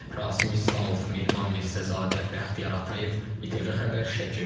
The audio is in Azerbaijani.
Rasim İslamov, Mehman Mirzəzadə, Bəxtiyar Atayev, İTV Xəbər Şəki.